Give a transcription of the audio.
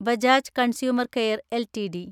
Bajaj consumer care LTD